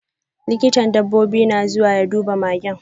Likitan dabbobi na zuwa ya duba magen.